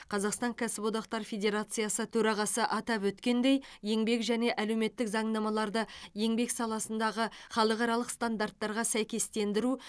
қазақстан кәсіподақтар федерациясы төрағасы атап өткендей еңбек және әлеуметтік заңнамаларды еңбек саласындағы халықаралық стандарттарға сәйкестендіру